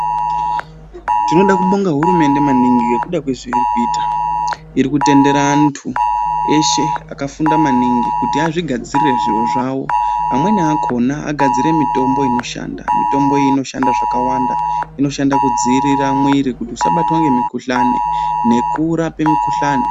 Tinoda kubonga hurumende maningi ngekuda kwezvairi kuita. Irikutendera antu eshe akafunda maningi kuti azvigadzirire zviro zvawo .Amweni akhona agadzire mitombo inoshanda .mitombo inoshanda zvakawanda inoshanda kudzivirira mwiiri kuti isabatwa ngemukhuhlani nekurapa mikhuhlani.